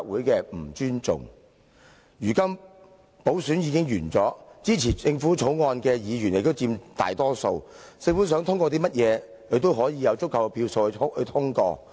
如今補選已經完結，支持政府《條例草案》的議員亦佔大多數，政府想通過甚麼，也有足夠票數通過。